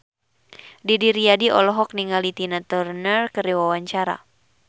Didi Riyadi olohok ningali Tina Turner keur diwawancara